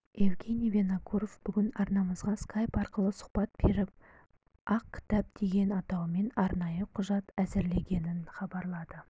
евгений винокуров бүгін арнамызға скайп арқылы сұхбат беріп ақ кітап деген атаумен арнайы құжат әзірленгенін хабарлады